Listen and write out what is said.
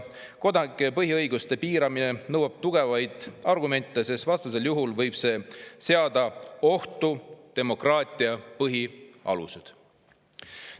Kodanike põhiõiguste piiramine nõuab tugevaid argumente, sest vastasel juhul võib see seada ohtu demokraatia põhialused.